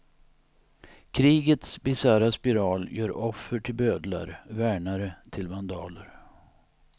Krigets bisarra spiral gör offer till bödlar, värnare till vandaler.